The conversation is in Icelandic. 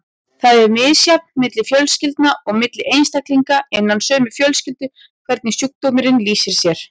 Það er misjafnt milli fjölskylda og milli einstaklinga innan sömu fjölskyldu hvernig sjúkdómurinn lýsir sér.